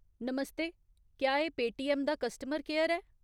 नमस्ते, क्या एह् पेटीऐम्म दा कस्टमर केयर ऐ ?